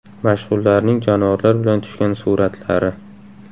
Mashhurlarning jonivorlar bilan tushgan suratlari.